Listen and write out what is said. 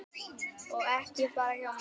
Og ekki bara hjá mér.